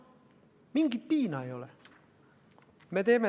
Mitte mingisugust piina ei ole.